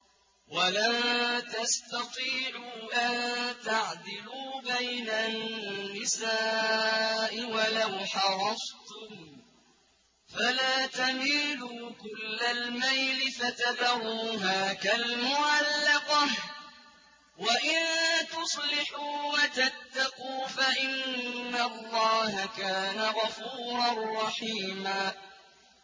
وَلَن تَسْتَطِيعُوا أَن تَعْدِلُوا بَيْنَ النِّسَاءِ وَلَوْ حَرَصْتُمْ ۖ فَلَا تَمِيلُوا كُلَّ الْمَيْلِ فَتَذَرُوهَا كَالْمُعَلَّقَةِ ۚ وَإِن تُصْلِحُوا وَتَتَّقُوا فَإِنَّ اللَّهَ كَانَ غَفُورًا رَّحِيمًا